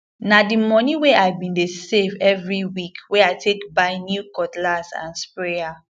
na di moni wey i bin dey save every week wey i take buy new cutlass and sprayer